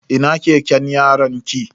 Ina keken yaronki?